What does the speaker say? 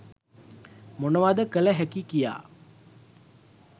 මොනවද කළ හැකි කියා.